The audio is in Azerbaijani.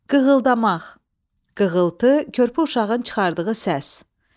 Qığıldamaq, qığıltı, körpü uşağın çıxardığı səs.